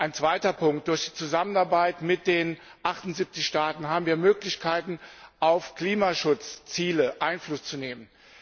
Ein zweiter Punkt Durch die Zusammenarbeit mit den 78 Staaten haben wir Möglichkeiten, auf Klimaschutzziele Einfluss zu nehmen.